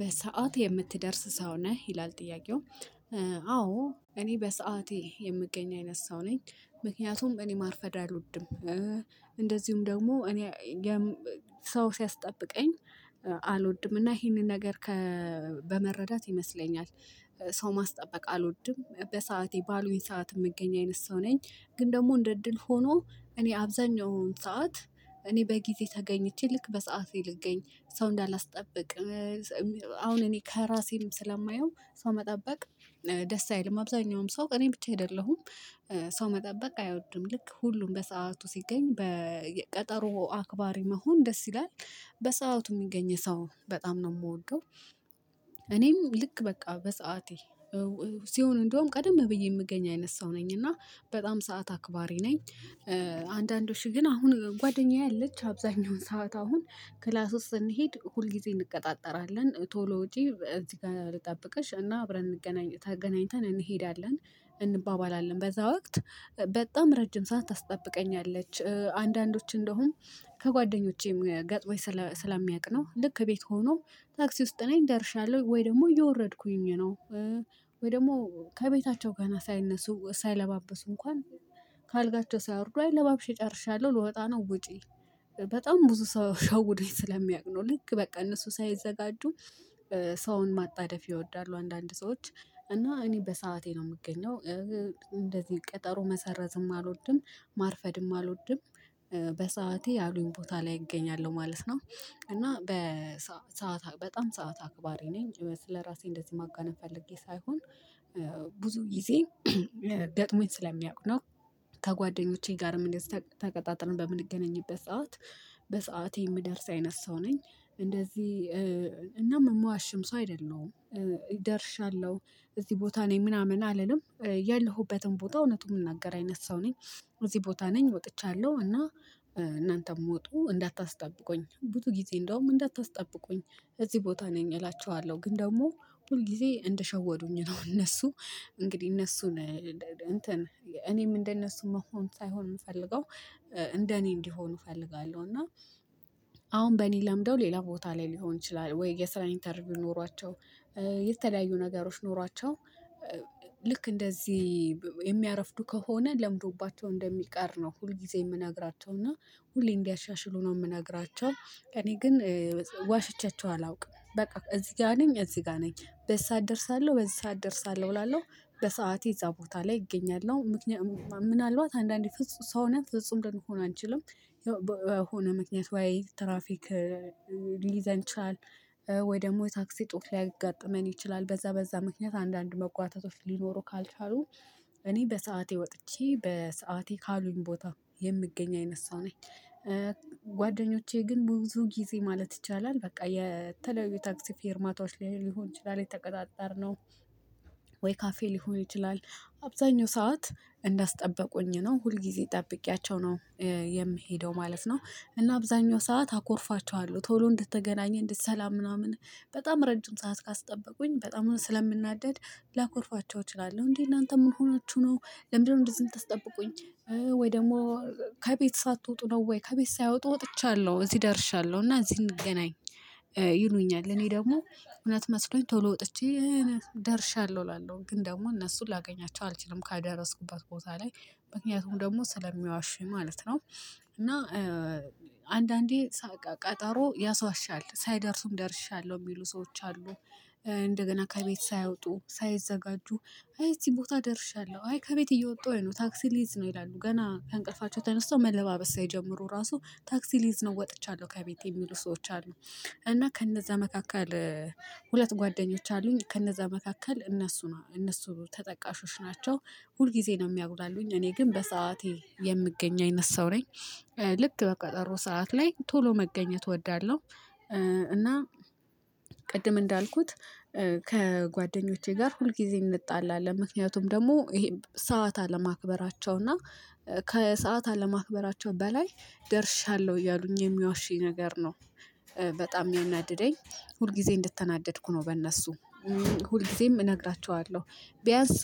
በሰአት የምትደርስ ሰው ነህ ይላል ጥያቄው? አዎ። እኔ በሰአቴ የምገኝ አይነት ሰው ነኝ ምክንያቱም እኔ ማርፈድ አልወድም። እንደዚሁም ደግሞ እኔ ሰው ሲያስጠብቀኝ አልወድም እና ይሄንን ነገር። በመረዳት ይመስለኛል። ሰው ማስጠበቅ አልወድም በሰአቴ ባሉኝ ሰዓት የምገኝ አይነት ሰው ነኝ። ግን ደግሞ እንደ እድል ሆኖ እኔ አብዛኛውን ሰዓት እኔ በጊዜ ተገኝቼ ልክ በሰአቴ ልገኝ ሰው እንዳላስጠብቅ። አሁን እኔ ከራሴም ስለማየው ሰው መጠበቅ። ደስ አይልም አብዛኛውም ሰው እኔ ብቻ አይደለሁም። ሰው መጠበቅ አይወድም ልክ ሁሉም በሰአቱ ሲገኝ በቀጠሮ አክባሪ መሆን ደስ ይላል። በሰአቱ ሚገኝ ሰው በጣም ነው ምወደው። እኔም ልክ በቃ በሰአቴ። ሲሆን እንደውም ቀደም ብዬ የምገኝ አይነት ሰው ነኝ እና በጣም ሰዓት አክባሪ ነኝ። አንዳንዶች ግን አሁን ጓደኛዬ አለች አብዛኛውን ሰዓት አሁን ክላስ ውስጥ ስንሄድ ሁል ጊዜ እንቀጣጠራለን ቶሎ ወጪ እዚህ ጋር ልጠብቅሽ እና አብረን እንገናኝ ተገናኝተን እንሄዳለን። እንባባላለን በዛ ወቅት። በጣም ረጅም ሳታስጠብቀኛለች አንዳንዶች እንደሆን ከጓደኞቼም ገጥሞኝ ስለሚያቅ ነው ልክ ቤት ሆኖ። ታክሲ ውስጥ ላይ እንደርሻለሁ ወይ ደግሞ እየወረድኩኝ ነው። ወይ ደግሞ ከቤታቸው ጋር ሳይነሱ ሳይለባብሱ እንኳን ከአልጋቸው ሳያወርዱ አይ ለባብሽ ጨርሻለሁ ልወጣ ነው ውጪ። በጣም ብዙ ሰው ሸውዶኝ ስለሚያውቅ ነው ልክ በቃ እነሱ ሳይዘጋጁ ሰውን ማጣደፍ ይወዳሉ አንዳንድ ሰዎች። እና እኔ በሰአቴ ነው ምገኘው። እንደዚህ ቀጠሮ መሰረዝም አልወድም። ማርፈድም አልወድም። በሰአቴ ያሉኝ ቦታ ላይ እገኛለሁ ማለት ነው። እና በሰአት በጣም ሰዓት አክባሪ ነኝ ስለራሴ እንደዚህ ማጋነን ፈልጌ ሳይሆን። ብዙ ጊዜ ገጥሞኝ ስለሚያውቅ ነው። ከጓደኞቼ ጋርም እንደዚህ ተቀጣጥረን በምንገናኝበት ሰዓት በሰአቴ የምደርስ አይነት ሰው ነኝ። እንደዚህ እናም ምዋሽም ሰው አይደለሁም። ይደርሻለሁ እዚህ ቦታ ነኝ ምናምን አልልም። ያለሁበትን ቦታ እውነቱን ምናገር አይነት ሰው ነኝ። እዚህ ቦታ ነኝ ወጥቻለሁ እና። እናንተም ዉጡ እንዳታስጠብቁኝ ብዙ ጊዜ እንደውም እንዳታስጠብቁኝ እዚህ ቦታ ነኝ እላችኋለሁ። ግን ደግሞ ሁል ጊዜ እንደሸወዱኝ ነው እነሱ። እንግዲህ እነሱን እንትን እኔም እንደነሱ መሆን ሳይሆን ምፈልገው። እንደኔ እንዲሆኑ እፈልጋለሁ እና። አሁን በእኔ ለምደው ሌላ ቦታ ላይ ሊሆን ይችላል ወይ የስራ ኢንተርቪው ኖሯቸው። የተለያዩ ነገሮች ኖሯቸው። ልክ እንደዚህ የሚያረፍዱ ከሆነ ለምዶባቸው እንደሚቀር ነው። ሁል ጊዜ የምነግራቸው እና ሁሌ እንዲያሻሽሉ ነው የምነግራቸው እኔ። ግን ዋሽቻቸው አላውቅም በቃ እዚህ ጋ ነኝ እዚህ ጋ ነኝ። በዚህ ሰዓት እደርሳለሁ በዚህ ሰዓት እደርሳለሁ እላለሁ። በሰአቴ እዛ ቦታ ላይ እገኛለሁ ምክንያቱም ምናልባት አንዳንዴ ፍጹም ሰው ነን ፍጹም ልንሆን አንችልም። የሆነ ምክንያት ወይ ትራፊክ። ሊይዘን ይችላል። ወይ ደግሞ ታክሲ እጦት ሊያጋጥመን ይችላል በዛ በዛ ምክንያት አንዳንድ መጓተቶች ሊኖሩ ካልቻሉ። እኔ በሰአቴ ወጥቼ በሰአቴ ካሉኝ ቦታ የምገኝ አይነት ሰው ነኝ። ጓደኞቼ ግን ብዙ ጊዜ ማለት ይቻላል በቃ የተለያዩ የታክሲ ፊርማቶች ሊሆን ይችላል የተቀጣጠርነው። ወይ ካፌ ሊሆን ይችላል። አብዛኛው ሰዓት እንዳስጠበቁኝ ነው ሁል ጊዜ ጠብቄያቸው ነው። የምሄደው ማለት ነው። እና አብዛኛው ሰዓት አኮርፋቸዋለሁ ቶሎ እንድትገናኘን እንደዚህ ሰላም ምናምን በጣም ረጅም ሰዓት ካስጠበቁኝ በጣም ስለምናደድ። ላኮርፋቸው እችላለሁ። እንዴ እናንተ ምንሆናችሁ ነው? ለምንድን ነው እንደዚህ እንደዚህ ምታስጠብቁኝ? ወይ ደግሞ። ከቤት ሳትወጡ ነው ወይ ከቤት ሳይወጡ ወጥቻለሁ እዚህ ደርሻለሁ እና እዚህ እንገናኝ። ይሉኛል እኔ ደግሞ እውነት መስሎኝ ቶሎ ወጥቼ። ደርሻለሁ እላለሁ ግን ደግሞ እነሱን ላገኛቸው አልችልም ከደረስኩበት ቦታ ላይ። ምክንያቱም ደግሞ ስለሚዋሹኝ ማለት ነው። እና አንዳንዴ ቀጠሮ ያስዋሻል ሳይደርሱም ደርሻለሁ የሚሉ ሰዎች አሉ። እንደገና ከቤት ሳይወጡ ሳይዘጋጁ። አይ እዚህ ቦታ ደርሻለሁ አይ ከቤት እየወጣሁኝ ነው ታክሲ ሊይዝ ነው ይላሉ ገና ከእንቅልፋቸው ተነስተው መለባበስ ሳይጀመሩ ራሱ ታክሲ ሊይዝ ነው ወጥቻለሁ ከቤት የሚሉ ሰዎች አሉ። እና ከነዛ መካከል። ሁለት ጓደኞች አሉኝ ከነዛ መካከል እነሱ ነው እነሱ ተጠቃሾች ናቸው። ሁል ጊዜ ነው የሚያጉላሉኝ እኔ ግን በሰአቴ የምገኝ አይነት ሰው ነኝ። ልክ በቀጠሮ ሰዓት ላይ ቶሎ መገኘት እወዳለሁ። እና ቅድም እንዳልኩት። ከጓደኞቼ ጋር ሁልጊዜም እንጣላለን ምክንያቱም ደግሞ ይሄ ሰዓት ለማክበራቸው እና። ከሰአት አለማክበራቸው በላይ ደርሻለሁ እያሉኝ የሚዋሹኝ ነገር ነው። በጣም የሚናደደኝ። ሁል ጊዜ እንድተናደድኩ ነው በእነሱ ሁል ጊዜም እነግራችኋለሁ። ቢያንስ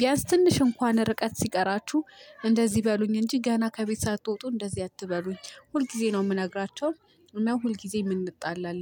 ቢያንስ ትንሽ እንኳን ርቀት ሲቀራችሁ እንደዚህ በሉኝ እንጂ ገና ከቤት ሳትወጡ እንደዚህ አትበሉኝ ሁልጊዜ ነው ምነግራቸው። እና ሁልጊዜም እንጣላለን